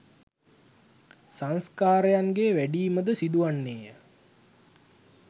සංස්කාරයන්ගේ් වැඩීම ද සිදු වන්නේය